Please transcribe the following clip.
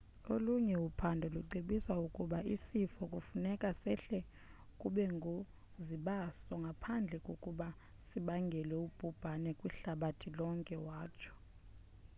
olunye uphando lucebisa ukuba isifo kufuneka sehle kubungozibaso ngaphambi kokuba sibangele ubhubhani kwihlabathi lonke watsho